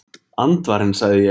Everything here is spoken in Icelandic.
Andvarinn sagði ég.